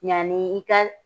Ɲaani i ka